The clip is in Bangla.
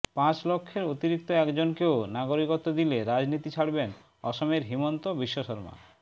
পাঁচ লক্ষের অতিরিক্ত একজনকেও নাগরিকত্ব দিলে রাজনীতি ছাড়বেন অসমের হিমন্ত বিশ্ব শর্মা